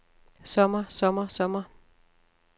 sommer sommer sommer